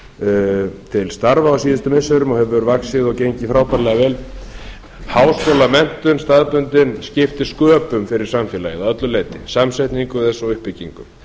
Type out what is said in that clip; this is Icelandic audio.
þar til starfa á síðustu missirum og hefur vaxið og gengið frábærlega vel staðbundin háskólamenntun skiptir sköpum fyrir samfélagið að öllu leyti samsetningu þess og uppbyggingu